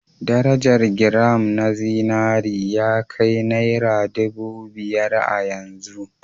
Darajar giram na zinari ya kai naira ɗubu biyar a yanzu